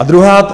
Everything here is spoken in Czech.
A druhá.